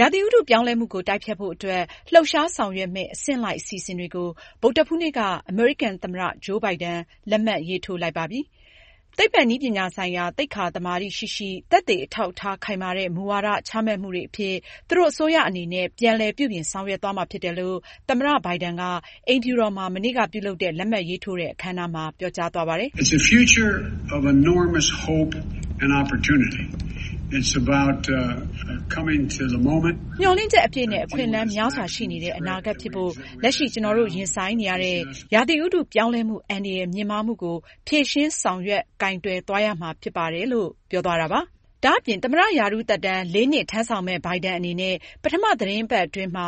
ရာသီဥတုပြောင်းလဲမှုကို တိုက်ဖျက်ဖို့အတွက် လှုပ်ရှားဆောင်ရွက်မယ့် အဆင့်လိုက် အစီအစဉ်တွေကို ဗုဒ္ဓဟူးနေ့က အမေရိကန်သမ္မတ ဂျိုးဘိုင်ဒန် လက်မှတ်ရေးထိုးလိုက်ပါတယ်။ သိပ္ပံနည်းပညာဆိုင်ရာ သိက္ခာသမာဓိရှိရှိ၊ သက်သေအထောက်အထား ခိုင်မာတဲ့ မူဝါဒချမှတ်မှုတွေအဖြစ် သူတို့ အစိုးရအနေနဲ့ပြန်လည် ပြုပြင်ဆောင်ရွက်သွားမှာ ဖြစ်တယ်လို့ သမ္မတ ဘိုင်ဒန်က အိမ်ဖြူတော်မှာ မနေ့က ပြုလုပ်တဲ့ လက်မှတ်ရေးထိုးတဲ့ အခမ်းအနားမှာ ပြောကြားသွားပါတယ်။ ”မျှော်လင့်ချက်အပြည့်နဲ့ အခွင့်အလမ်းများစွာရှိနေတဲ့ အနာဂတ်ဖြစ်ဖို့ လက်ရှိ ကျနော်တို့ ရင်ဆိုင်နေရတဲ့ ရာသီဥတု ပြောင်းလဲမှု အန္တရာယ်မြင့်မားမှုကို ဖြေရှင်းဆောင်ရွက် ကိုင်တွယ်ရမှာဖြစ်ပါတယ်။” ဒါ့အပြင် သမ္မတရာထူးသက်တမ်း လေးနှစ်ထမ်းဆောင်မယ့် ဘိုင်ဒန်အနေနဲ့ ပထမ သီတင်းပတ်အတွင်းမှာ